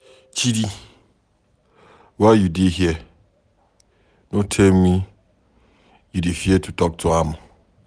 Chidi why you dey here? No tell me you dey fear to talk to am